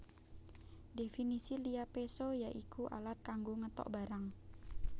Dhèfinisi liya péso ya iku alat kanggo ngetok barang